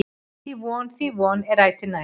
Því von, því von, er ætíð nær.